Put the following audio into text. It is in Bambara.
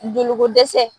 Joliko dɛsɛ